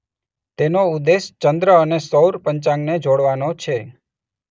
તેનો ઉદ્દેશ ચંદ્ર અને સૌર પંચાંગને જોડવાનો છે.